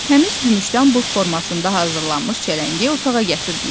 Təmiz gümüşdən bığ formasında hazırlanmış çələngi otağa gətirdilər.